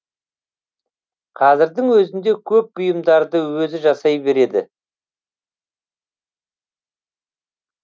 қазірдің өзінде көп бұйымдарды өзі жасай береді